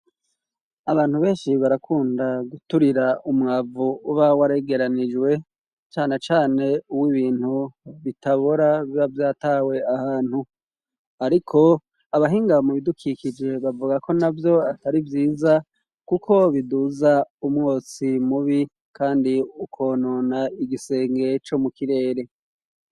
Abantu benshi barakunda guturira umwavu uba waregeranijwe, cane cane uw'ibintu bitabora biba vyatawe ahantu. Ariko abahinga mu bidukikije bavuga ko navyo atari vyiza, kuko biduza umwotsi mubi kandi ukonona igisenge co mu kirere.